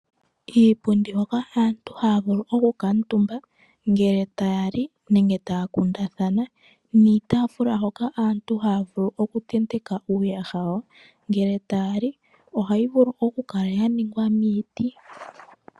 Iipundi hoka aantu haya vulu okukala omutumba ngele taya li, nenge taya kundathana niitafula hoka aantu haya vulu okutenteke uuyaha wawo ngele taya li. Ohayi vulu okukala ya ningwa miiti.